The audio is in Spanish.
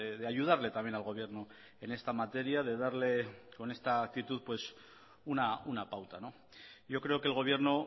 de ayudarle también al gobierno en esta materia de darle con esta actitud una pauta yo creo que el gobierno